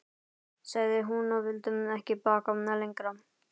sagði hún, og vildi ekki bakka lengra.